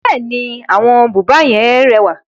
Bẹ́ẹ̀ni, àwọn búba yẹn rẹwà.